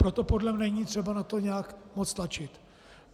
Proto podle mne není třeba na to nějak moc tlačit.